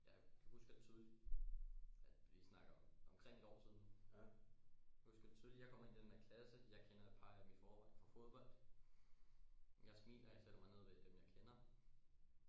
Jeg kan husker tydeligt at vi snakker omkring et år siden jeg husker tydeligt jeg kommer ind i den her klasse jeg kender et par af dem i forvejen fra fodbold jeg smiler jeg sætter mig ned ved dem jeg kender